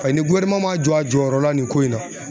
Paseke ni ma jɔ a jɔyɔrɔ la nin ko in na